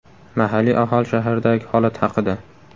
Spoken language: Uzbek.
Mahalliy aholi shahardagi holat haqida.